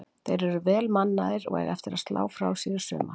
Þeir eru vel mannaðir og eiga eftir að slá frá sér í sumar.